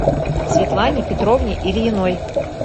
светлане петровне ильиной